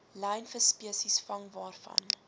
lynvisspesies vang waarvan